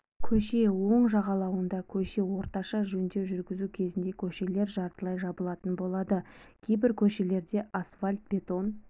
көше оң жағалауында көше орташа жөндеу жүргізу кезінде көшелер жартылай жабылатын болады кейбір көшелерде асфальт-бетон